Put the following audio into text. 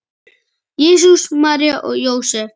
Jesús, María og Jósep!